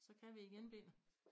Så kan vi igen Peter